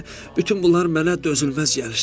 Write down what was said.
Bütün bunlar mənə dözülməz gəlir.